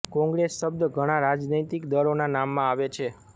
કોંગ્રેસ શબ્દ ઘણા રાજનૈતિક દળોનાં નામમાં આવે છે